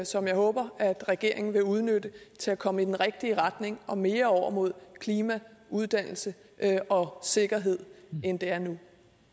som jeg håber regeringen vil udnytte til at komme i den rigtige retning og mere over mod klima uddannelse og sikkerhed end det er nu